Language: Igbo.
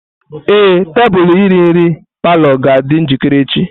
Ee, tebụl iri nri palọ ga-adị njikere echi.